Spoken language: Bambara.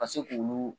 Ka se k'olu